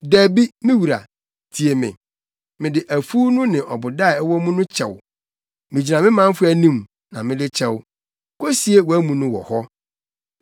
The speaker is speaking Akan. “Dabi, me wura, tie me! Mede afuw no ne ɔboda a ɛwɔ mu no kyɛ wo. Migyina me manfo anim, na mede kyɛ wo. Kosie wʼamu no wɔ hɔ.”